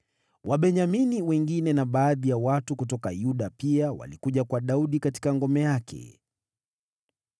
Wabenyamini wengine na baadhi ya watu kutoka Yuda pia walikuja kwa Daudi katika ngome yake.